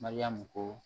Mariyamu ko